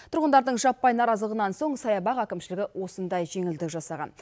тұрғындардың жаппай наразылығынан соң саябақ әкімшілігі осындай жеңілдік жасаған